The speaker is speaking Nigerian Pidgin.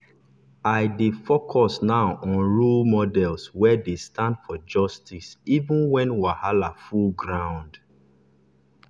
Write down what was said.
i i dey focus now on role models wey dey stand for justice even when wahala full ground.